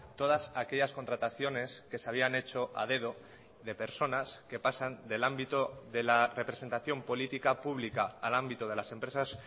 todas aquellas contrataciones que se habían hecho a dedo de personas que pasan del ámbito de la representación política pública al ámbito de las empresas